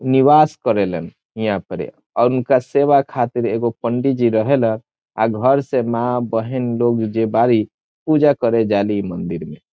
निवास करेलन हिया पडी | अ उनका सेवा खातिर एगो पंडी जी रहेल अ घर से मां बहिन लोग जे बारी पूजा करे जाली ई मंदिर में ।